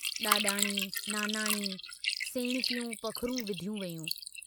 डाडाणी, नानाणी, सेणकियूं पखरूं विधियूं वयूं।